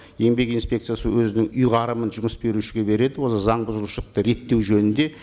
еңбек инспекциясы өзінің ұйңарымын жұмыс берушіге береді осы заң бұзушылықты реттеу жөнінде